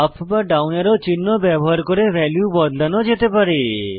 up বা down arrow চিহ্ন ব্যবহার করে ভ্যালু বদলানো যেতে পারে